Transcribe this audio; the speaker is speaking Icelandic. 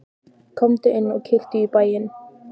Komdu inn og kíktu í bæinn!